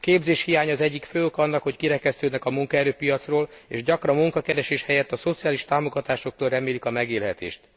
A képzéshiány az egyik fő oka annak, hogy kirekesztődnek a munkaerőpiacról, és gyakran munkakeresés helyett a szociális támogatásoktól remélik a megélhetést.